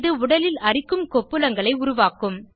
இது உடலில் அரிக்கும் கொப்புளங்களை உருவாக்கும்